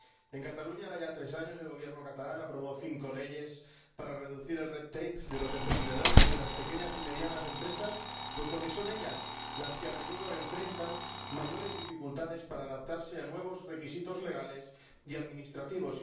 En Cataluña, hará ya tres años, el Gobierno catalán aprobó cinco leyes para reducir el red tape de los emprendedores y de las pequeñas y medianas empresas, puesto que son ellas las que a menudo enfrentan mayores dificultades para adaptarse a nuevos requisitos legales y administrativos.